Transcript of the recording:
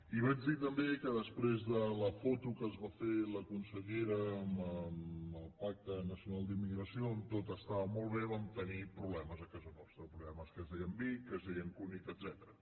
i vaig dir també que després de la foto que es va fer la consellera amb el pacte nacional per a la immigració on tot estava molt bé vam tenir problemes a casa nostra problemes que es deien vic que es deien cunit etcètera